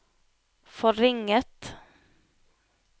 forringet